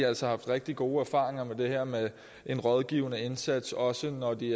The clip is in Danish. altså haft rigtig gode erfaringer med det her med en rådgivende indsats også når de